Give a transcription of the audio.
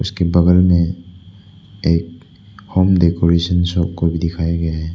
उसके बगल में एक होम डेकोरेशन शॉप को भी दिखाए गये हैं।